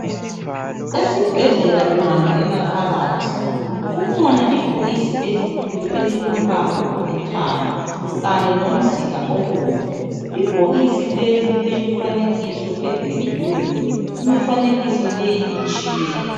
Esibhedlela ungangena phakathi kukhona ibhokisi elikhulu elilombala olithanga Kanye lomzila obomvu. Ibhokisi leli lilemifanekiso edwetshiweyo njalo imifanekiso le itshiyene.